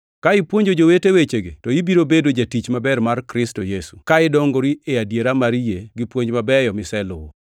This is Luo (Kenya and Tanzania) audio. Ka ipuonjo Jowete wechegi to ibiro bedo jatich maber mar Kristo Yesu, ka idongori e adiera mar yie gi puonj mabeyo miseluwo.